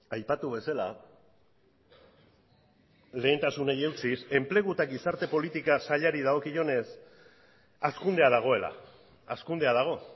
aipatu bezala lehentasunei eutsiz enplegu eta gizarte politika sailari dagokionez hazkundea dagoela hazkundea dago